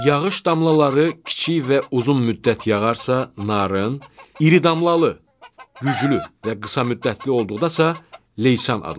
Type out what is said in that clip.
Yağış damlaları kiçik və uzun müddət yağarsa, narın, iri damlalı, güclü və qısa müddətli olduqda isə leysan adlanır.